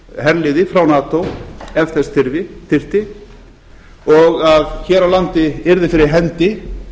herliði frá nato ef þess þyrfti og hér á landi yrði fyrir hendi